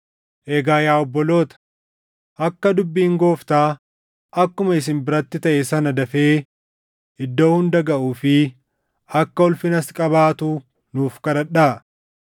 Egaa yaa obboloota, akka dubbiin Gooftaa akkuma isin biratti taʼe sana dafee iddoo hunda gaʼuu fi akka ulfinas qabaatu nuuf kadhadhaa.